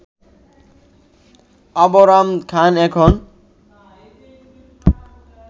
আবরাম খান এখন